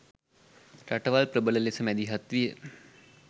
රටවල් ප්‍රබල ලෙස මැදිහත් විය